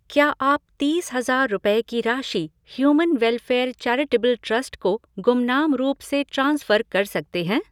क्या आप तीस हज़ार रुपए की राशि ह्यूमन वेलफेयर चैरिटेबल ट्रस्ट को गुमनाम रूप से ट्रांसफ़र कर सकते हैं?